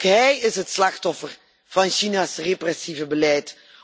Ook hij is het slachtoffer van China's repressieve beleid.